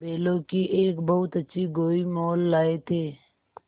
बैलों की एक बहुत अच्छी गोई मोल लाये थे